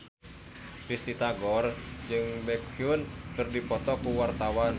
Risty Tagor jeung Baekhyun keur dipoto ku wartawan